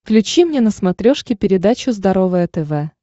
включи мне на смотрешке передачу здоровое тв